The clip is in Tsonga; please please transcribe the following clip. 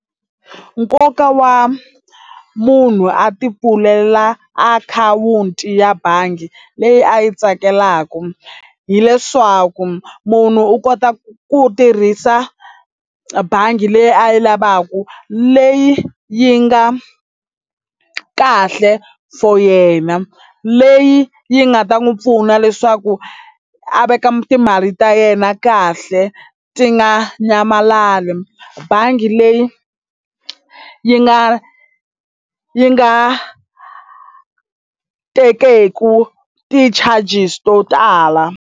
Nkoka wa munhu a tipfulela akhawunti ya bangi leyi a yi tsakelaka hileswaku munhu u kota ku tirhisa bangi leyi a yi lavaka leyi yi nga kahle for yena leyi yi nga ta n'wi pfuna leswaku a veka timali ta yena kahle ti nga nyamalali bangi leyi yi nga yi nga tekeku ti-charges to tala.